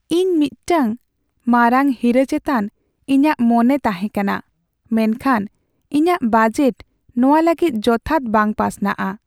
ᱤᱧ ᱢᱤᱫᱴᱟᱝ ᱢᱟᱨᱟᱝ ᱦᱤᱨᱟᱹ ᱪᱮᱛᱟᱱ ᱤᱧᱟᱹᱜ ᱢᱚᱱᱮ ᱛᱟᱸᱦᱮ ᱠᱟᱱᱟ, ᱢᱮᱱᱠᱷᱟᱱ ᱤᱧᱟᱹᱜ ᱵᱟᱡᱮᱴ ᱱᱚᱶᱟ ᱞᱟᱹᱜᱤᱫ ᱡᱚᱛᱷᱟᱛ ᱵᱟᱝ ᱯᱟᱥᱱᱟᱜᱼᱟ ᱾